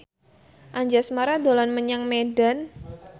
Anjasmara dolan menyang Medan